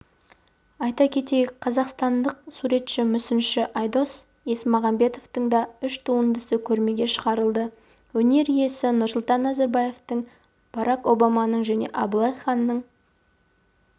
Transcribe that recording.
айта кетейік қазақстандық суретші мүсінші айдос есмағамбетовтың да үш туындысы көрмеге шығарылды өнер иесі нұрсұлтан назарбаевтың барак обаманың және абылай ханның